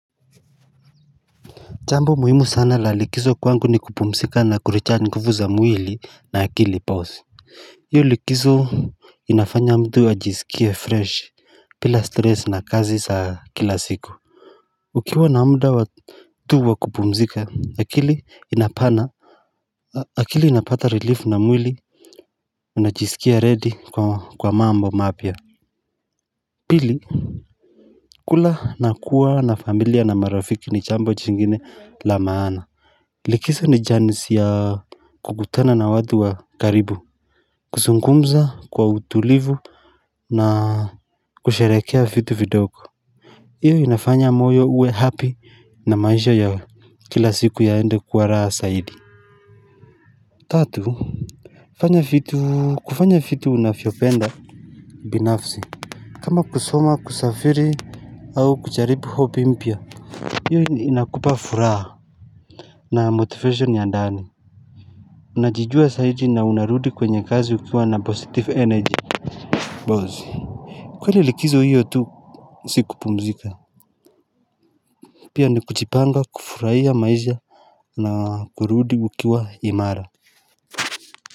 Jambo muhimu sana la likizo kwangu ni kupumzika na kurecharge nguvu za mwili na akili ipause hiyo likizo inafanya mtu ajisikia fresh bila stress na kazi za kila siku Ukiwa na muda wa tu wakupumzika akili inapana akili inapata relief na mwili unajisikia ready kwa mambo mapya Pili kula na kuwa na familia na marafiki ni jambo jingine la maana Likiso ni janisi ya kukutana na watu wa karibu kuzungumza kwa utulivu na kusherekea vitu vidogo hiyo inafanya moyo uwe happy na maisha ya kila siku yaende kuwa raha zaidi Tatu kufanya vitu unavyopenda binafsi kama kusoma kusafiri au kujalibu hobby mpya hiyo inakupa furaha na motivation ya ndani Najijua zaidi na unarudi kwenye kazi ukiwa na positive energy Bazi kweli likizo hiyo tu Sikupumzika Pia ni kuchipanga kufurahia maisha na kurudi ukiwa imara.